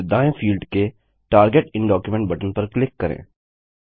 फिर दाएँ फील्ड के टार्गेट इन डॉक्यूमेंट बटन पर क्लिक करें